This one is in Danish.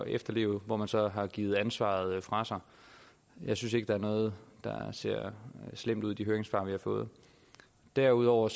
efterleve hvor man så har givet ansvaret fra sig jeg synes ikke at der er noget der ser slemt ud i de høringssvar vi har fået derudover